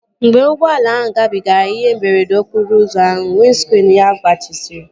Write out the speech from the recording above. Mgbe ụgbọala ahụ gabigara ihe mberede okporo ụzọ ahụ, windskriinu ya gbajisiri